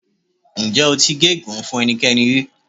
Ǹjẹ́ o ti gégùnu-ún fún ẹnikẹ́ni rí?